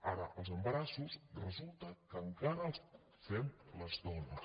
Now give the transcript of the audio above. ara els embarassos resulta que encara els fem les dones